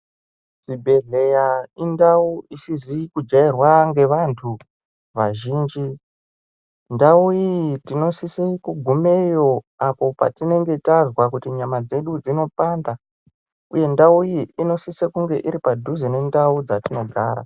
Zvibhedhlera indau isizi kujairwa ngevantu vazhinji. Ndau iyi tinosise kugumeyo apo patinenge tazwa kuti nyama dzedu dzinopanda uye ndau iyi inosise kunge iri padhuze nendau dzatinogara.